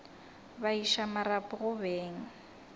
ba iša marapo go beng